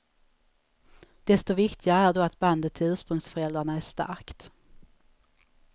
Desto viktigare är då att bandet till ursprungsföräldrarna är starkt.